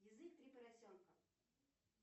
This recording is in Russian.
язык три поросенка